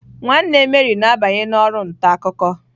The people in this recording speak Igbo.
Nwanne Mary na-abanye na oru nta akuko.